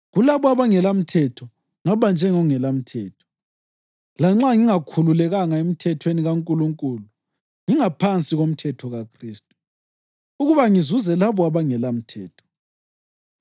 Kulabo abangelamthetho ngaba njengongelamthetho (lanxa ngingakhululekanga emthethweni kaNkulunkulu ngingaphansi komthetho kaKhristu), ukuba ngizuze labo abangelamthetho.